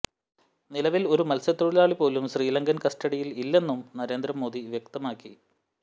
നിലവിൽ ഒരു മൽസ്യതൊഴിലാളി പോലും ശ്രീലങ്കൻ കസ്റ്റഡിയിൽ ഇല്ലെന്നും നരേന്ദ്രമോദി വ്യക്തമാക്കി